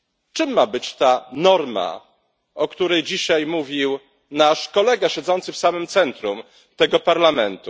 Czym ma być ta norma, o której dzisiaj mówił nasz kolega siedzący w samym centrum tego parlamentu?